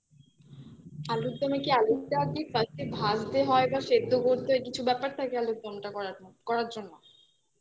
আলুরদমে কি আলুটা first এ ভাজতে হয় বা সেদ্ধ করতে হয় কিছু ব্যাপার থাকে আলুরদম টা করার জন্য